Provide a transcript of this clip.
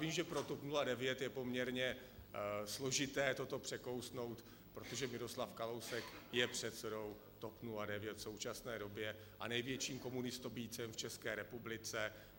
Vím, že pro TOP 09 je poměrně složité toto překousnout, protože Miroslav Kalousek je předsedou TOP 09 v současné době a největším komunistobijcem v České republice.